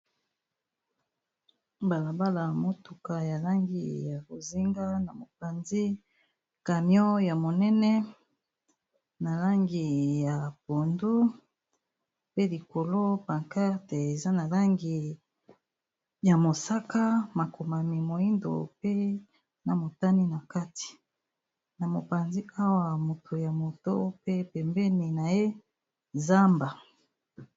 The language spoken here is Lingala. Balabala motuka ya langi ya rozinga na mopanzi camion ya monene na langi ya pondu, pe likolo pankate eza na langi ya mosaka ,makomami moindo, pe na motani na kati na mopanzi awa moto ya moto pe pembeni na ye zamba.